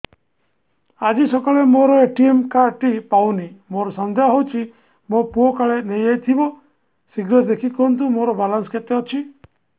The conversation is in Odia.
ଆଜି ସକାଳେ ମୋର ଏ.ଟି.ଏମ୍ କାର୍ଡ ଟି ପାଉନି ମୋର ସନ୍ଦେହ ହଉଚି ମୋ ପୁଅ କାଳେ ନେଇଯାଇଥିବ ଶୀଘ୍ର ଦେଖି କୁହନ୍ତୁ ମୋର ବାଲାନ୍ସ କେତେ ଅଛି